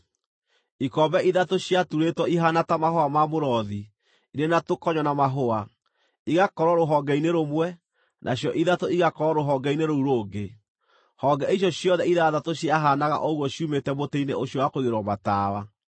Ikombe ithatũ ciaturĩtwo ihaana ta mahũa ma mũrothi, irĩ na tũkonyo na mahũa, igakorwo rũhonge-inĩ rũmwe, nacio ithatũ igakorwo rũhonge-inĩ rũu rũngĩ; honge icio ciothe ithathatũ ciahaanaga ũguo ciumĩte mũtĩ-inĩ ũcio wa kũigĩrĩrwo matawa.